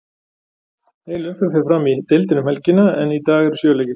Heil umferð fer fram í deildinni um helgina, en í dag eru sjö leikir.